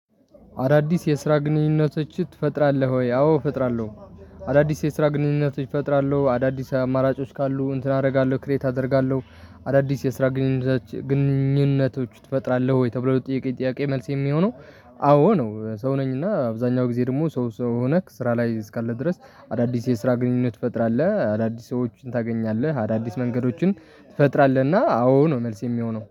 አዳዲስ የስራ ግንኙነቶች ትፈጥራለህ ወይ? አዎ እፈጥራለሁ። አዳዲስ የስራ ግንኙነቶች ፈጥራለሁ አዳዲስ አማራጮች ካሉ እንትን አደርጋለሁ ክሬት አደርጋለሁ። አዳዲስ የስራ ግንኙነቶች ትፈጥራለህ ወይ? ተብለህ ጥያቄ ጥያቄ መልስ የሚሆነው አዎ ነው። ሰው ነኝ እና አብዛኛው ጊዜ ደግሞ ሰው ሰው ሆነህ ስራ ላይ እስካለ ድረስ። አዳዲስ የስራ ግንኙነት ትፈጥራለህ አዳዲስ ሰዎችን ታገኛለህ አዳዲስ መንገዶችን። ትፈጥራለህና አዎ ነው መልስ የሚሆነው